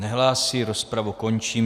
Nehlásí, rozpravu končím.